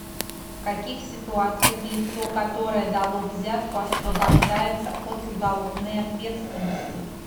в каких ситуациях лицо которое дало взятку освобождается от уголовной ответственности